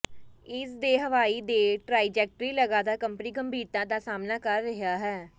ਇਸ ਦੇ ਹਵਾਈ ਦੇ ਟ੍ਰਾਈਜੈਕਟਰੀ ਲਗਾਤਾਰ ਕੰਪਨੀ ਗੰਭੀਰਤਾ ਦਾ ਸਾਹਮਣਾ ਕਰ ਰਿਹਾ ਹੈ